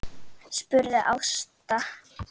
spurði Ásta.